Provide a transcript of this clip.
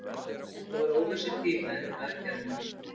Þetta var óvissutími eftir aðgerðina.